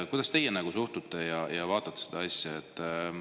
Kuidas teie suhtute sellesse ja vaatate seda asja?